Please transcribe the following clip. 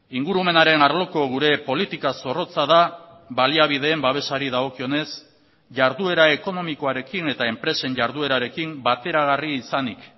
ingurumenaren arloko gure politika zorrotza da baliabideen babesari dagokionez jarduera ekonomikoarekin eta enpresen jarduerarekin bateragarri izanik